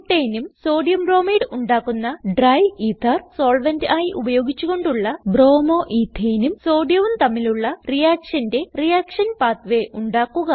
Butaneഉം sodium bromide ഉണ്ടാക്കുന്ന dry ether solvent ആയി ഉപയോഗിച്ച് കൊണ്ടുള്ള bromo എത്തനെ നും Sodiumവും തമ്മിലുള്ള reactionന്റെ റിയാക്ഷൻ പാത്വേ ഉണ്ടാക്കുക